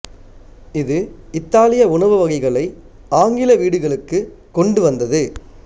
இது இத்தாலிய உணவு வகைகளை ஆங்கில வீடுகளுக்குக் கொண்டு வந்தது